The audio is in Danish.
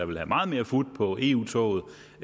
vil have meget mere fut på eu toget